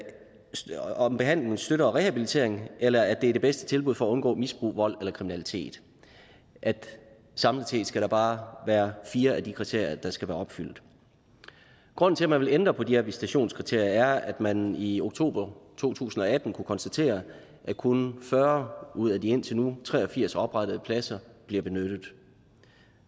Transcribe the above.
behandlingen støtter rehabilitering eller at det er det bedste tilbud for at undgå misbrug vold eller kriminalitet samlet set skal der bare være fire af de kriterier der skal være opfyldt grunden til at man vil ændre på de her visitationskriterier er at man i oktober to tusind og atten kunne konstatere at kun fyrre ud af de indtil nu tre og firs oprettede pladser bliver benyttet